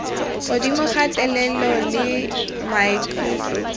godimo ka thelelo le maikutlo